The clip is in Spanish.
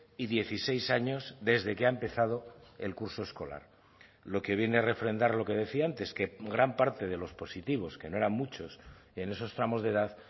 y dieciséis años desde que ha empezado el curso escolar lo que viene a refrendar lo que decía antes que gran parte de los positivos que no eran muchos en esos tramos de edad